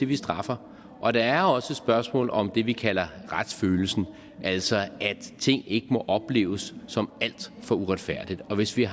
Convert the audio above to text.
vi straffer og der er også et spørgsmål om det vi kalder retsfølelsen altså at ting ikke må opleves som alt for uretfærdige og hvis vi